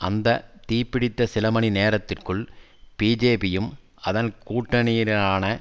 அந்த தீ பிடித்த சில மணி நேரத்திற்குள் பிஜேபியும் அதன் கூட்டணியினரான